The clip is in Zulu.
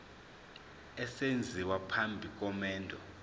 esenziwa phambi komendo